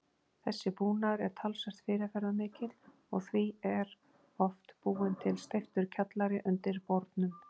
Þessi búnaður er talsvert fyrirferðarmikill, og því er oft búinn til steyptur kjallari undir bornum